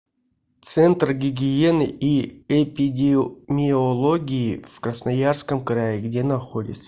центр гигиены и эпидемиологии в красноярском крае где находится